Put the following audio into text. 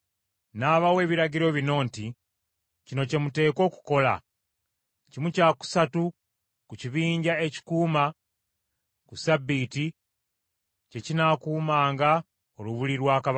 N’abawa ebiragiro bino nti, “Kino kye muteekwa okukola: kimu kya kusatu ku kibinja ekikuuma ku ssabbiiti, kye kinaakuumanga olubiri lwa kabaka,